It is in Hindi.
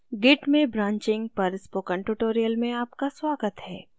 git में branching पर spoken tutorial में आपका स्वागत है